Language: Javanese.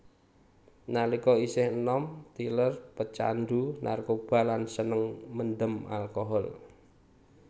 Nalika isih enom Tyler pecandhu narkoba lan seneng mendem alkohol